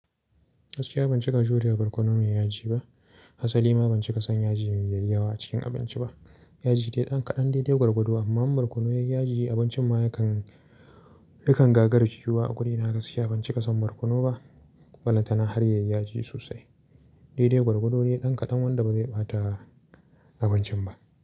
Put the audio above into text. Gaskiya ban ci kajin waje barkono mai yaji ba. Hasalima ban cika son yaji mai yawa a cikin abinci ba. Yaji dai ɗan kaɗan dai-dai gwargwado amma barkono yayi yaji abincin ma yakan, yakan gagara ciyuwa a gurina na gaskiya ban cika son barkono ba. Ballata na har yayi yaji sosai. Dai-dai gwargwado ne ɗan kaɗan wanda ba zai ɓata abincin ba.